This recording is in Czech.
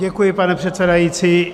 Děkuji, pane předsedající.